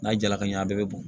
N'a jala ka ɲɛ a bɛɛ bɛ bɔn